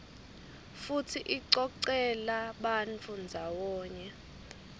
futsi icocela bantfu ndzawonye